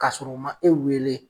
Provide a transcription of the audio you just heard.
Kasɔrɔ u ma e weele